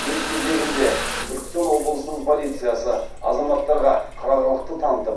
өз кезегінде түркістан облысының полициясы азаматтарға қырағылықты танытып